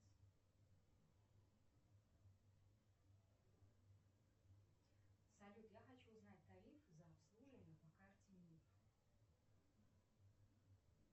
салют я хочу узнать тариф за обслуживание по карте мир